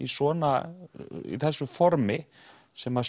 svona í þessu formi sem